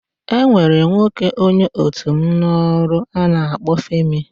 E nwere nwoke onye otu m n'ọrụ a na-akpọ Femi.